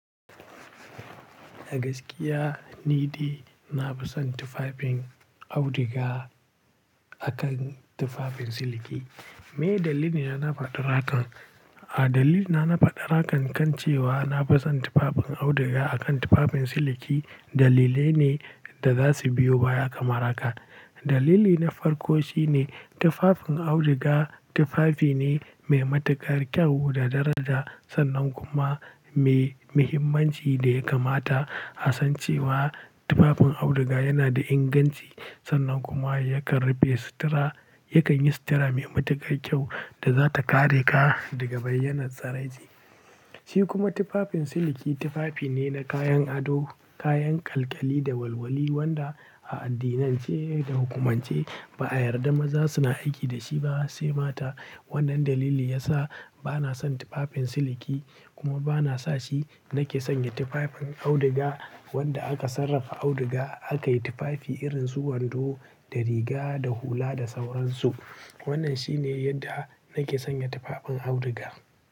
A gaskiya ni dai na fi son tufafin auduga akan tufafin siliki. Meye dalili na na faɗan hakan? A dalilina na faɗa hakan kan cewa na fi son tufafin auduga akan tufafin siliki dalilai ne da za su biyo baya kamarhaka. Dalili na farko shine tufafin auduga tufafi ne mai matuƙar kyau da daraja sannan kuma mai muhimmanci da ya kamata, asan cewa tufafin auduga yana da inganci sannan kuma yakan rufe sutura, yakan yi sutura mai matuƙar kyau da za ta kare ka daga bayyanar tsiraici. Shi kuma tufafin siliki tufafi ne na kayan ado, kayan ƙalƙyali da walwali wanda a addinan ce da hukumance ba a yarda maza suna aiki da shi ba sai mata. Wannan dalili ya sa ba na son tufafin siliki kuma ba na sa shi. Nake sanya tufafin auduga wanda aka sarrafa auduga aka yi tufafi irin su wando da riga da hula da sauran su. Wannan shi ne yadda nake sanya tufafin auduga.